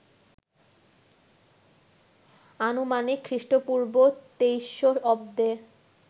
আনুমানিক খ্রিস্টপূর্ব ২৩০০ অব্দে